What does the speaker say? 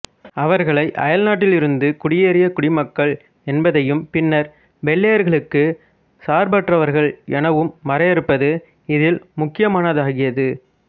அவர்களை அயல்நாட்டிலிருந்து குடியேறிய குடிமக்கள் என்பதையும் பின்னர் வெள்ளையர்களுக்கு சார்பற்றவர்கள் எனவும் வரையறுப்பது இதில் முக்கியமானதாகியது